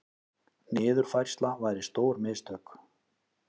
Niðurfærsla væri stór mistök